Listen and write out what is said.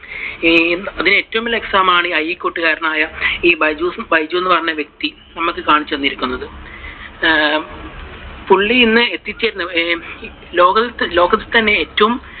അതിനു ഏറ്റവും വലിയ example ആണ് ഈ അരീക്കോട് കാരനായ ഈ ബെയ്ജ് ബൈജു എന്ന പറയുന്ന വ്യക്തി നമുക്ക് കാണിച്ചു തന്നിരിക്കുന്നത്. ആഹ് പുള്ളി ഇന്ന് ലോകത്തു തന്നെലോകത്ത് തന്നെ ഏറ്റവും